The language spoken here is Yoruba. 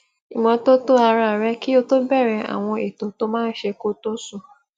ìmótótó ara rè kí ó tó bèẹrè àwọn ètò tó máa n ṣe kó tó sùn